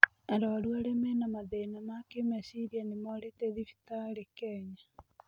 Arwaru arĩa mena mathĩna ma kĩmecirĩa nĩmorĩte thibitarĩ Kenya.